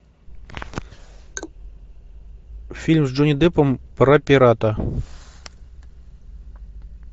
фильм с джонни деппом про пирата